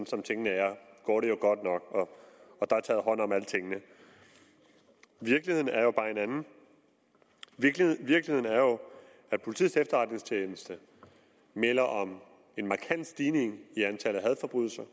som tingene er går det jo godt nok og der er taget hånd om alting virkeligheden er bare en anden virkeligheden er jo at politiets efterretningstjeneste melder om en markant stigning i antallet af hadforbrydelser